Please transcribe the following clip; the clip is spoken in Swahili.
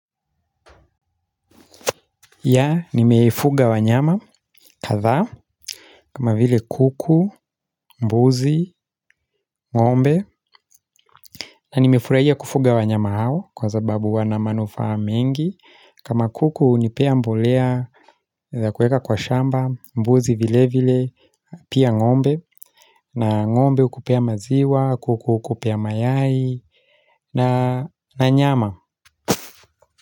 Ya nimefuga wanyama kadhaa kama vile kuku, mbuzi, ng'ombe na nimefurahia kufuga wanyama hao kwa sababu wana manufaa mengi kama kuku hunipea mbolea ya kuweka kwa shamba mbuzi vile vile pia ng'ombe na ng'ombe ukupea maziwa, kuku ukupea mayai na nyama.